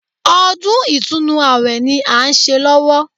Ọdún Ìtúnu àwẹ̀ ni à ń ṣe lọ́wọ́